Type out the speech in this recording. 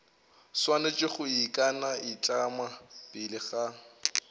swanetše go ikanaitlama pele ga